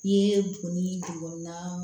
I ye buguni dugumana